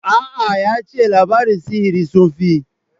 A'a, ya ce labaran sihiri sun fi.